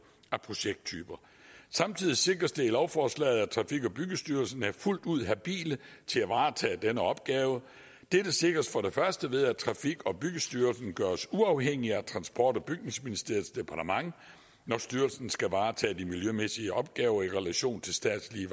af projekttyper samtidig sikres det i lovforslaget at trafik og byggestyrelsen er fuldt ud habile til at varetage denne opgave dette sikres for det første ved at trafik og byggestyrelsen gøres uafhængig af transport og bygningsministeriets departement når styrelsen skal varetage de miljømæssige opgaver i relation til statslige